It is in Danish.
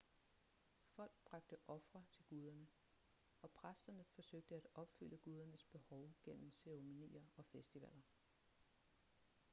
folk bragte ofre til guderne og præsterne forsøgte at opfylde gudernes behov gennem ceremonier og festivaler